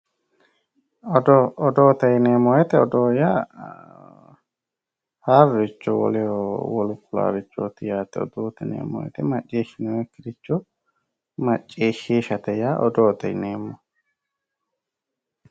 Odoo, odoote yineemmo woyte odoo yaa haaroricho woleho wolu ku'larichoti yaate odoote yineemmo woyte maccishinonkiricho maccishishate yaa odoote yineemmo.